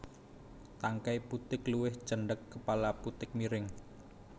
Tangkai putik luwih cendhek kepala putik miring